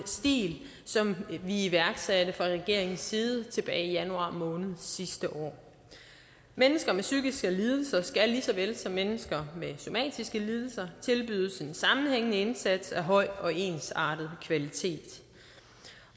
som vi iværksatte fra regeringens side tilbage i januar måned sidste år mennesker med psykiske lidelser skal lige så vel som mennesker med somatiske lidelser tilbydes en sammenhængende indsats af høj og ensartet kvalitet